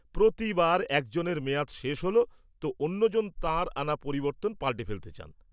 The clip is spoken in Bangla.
প্রতি বার একজনের মেয়াদ শেষ হল তো অন্যজন তাঁর আনা পরিবর্তন পালটে ফেলতে চান।